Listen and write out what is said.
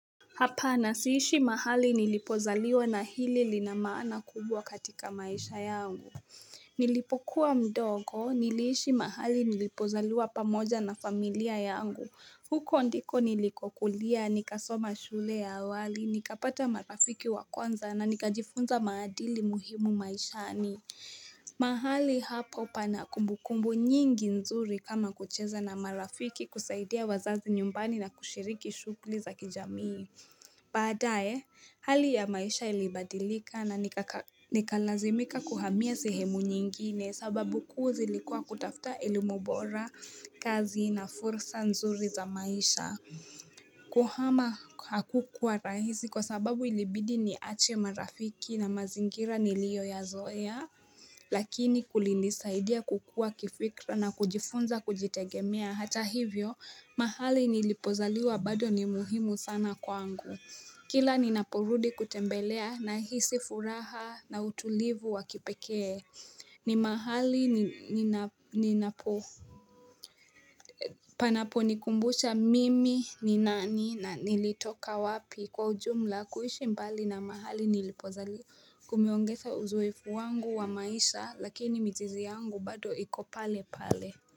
Hapana siishi mahali nilipozaliwa na hili lina maana kubwa katika maisha yangu. Nilipokuwa mdogo, niliishi mahali nilipozaliwa pamoja na familia yangu. Huko ndiko nilikokulia, nikasoma shule ya awali, nikapata marafiki wa kwanza na nikajifunza maadili muhimu maishani. Mahali hapo pana kumbukumbu nyingi nzuri kama kucheza na marafiki, kusaidia wazazi nyumbani na kushiriki shughuli za kijamii. Baadaye, hali ya maisha ilibadilika na Nikalazimika kuhamia sehemu nyingine. Sababu kuu zilikua kutafta elimu bora, kazi na fursa nzuri za maisha. Kuhama hakukuwa rahisi kwa sababu ilibidi niache marafiki na mazingira niliyoyazoea, lakini kulinisaidia kukua kifikra na kujifunza kujitegemea. Hata hivyo mahali nilipozaliwa bado ni muhimu sana kwangu. Kila ninaporudi kutembelea nahisi furaha na utulivu wa kipekee. Ni mahali ninapo panaponikumbusha mimi ni nani na nilitoka wapi. Kwa ujumla, kuishi mbali na mahali nilipozaliwa Kumeongeza uzoefu wangu wa maisha lakini mizizi yangu bado iko pale pale.